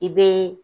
I be